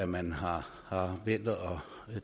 man har vendt